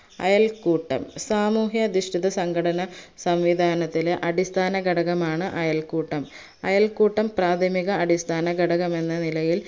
അയൽക്കൂട്ടം സാമൂഹ്യാദിഷ്‌ടിത സംഘടന സംവിദാനത്തിലെ അടിസ്ഥാനഘടകമാണ് അയൽക്കൂട്ടം അയൽക്കൂട്ടം പ്രാഥമിക അടിസ്ഥാന ഘടകമെന്ന നിലയിൽ